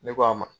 Ne ko a ma